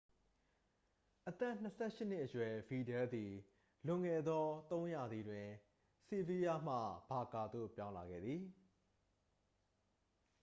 အသက် 28 ရှစ်နှစ်အရွယ် ဗီဒယ်လ်သည် လွန်ခဲ့သော သုံးရာသီတွင် ဆီဗီးလားမှ ဘာကာသို့ ပြောင်းလာခဲ့သည်